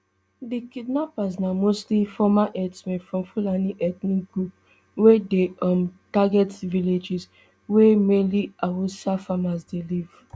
di kidnappers na mostly former herdsmen from fulani ethnic group wey dey um target villages wia mainly hausa farmers dey live